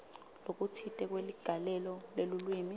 lokutsite kweligalelo lelulwimi